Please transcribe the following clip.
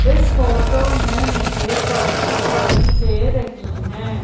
इस फोटो में मुझे कार दिखाई दे रहीं हैं।